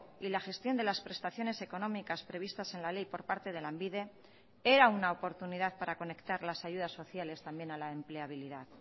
y la gestión de las prestaciones económicas previstas en la ley por parte de lanbide era una oportunidad para conectar las ayudas sociales también a la empleabilidad